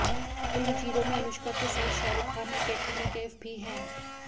film Zero में अनुष्का के साथ शाहरुख खान और कटरीना कैफ भी हैं